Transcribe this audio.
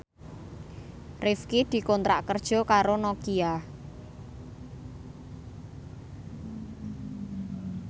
Rifqi dikontrak kerja karo Nokia